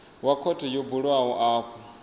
wa khothe yo bulwaho afho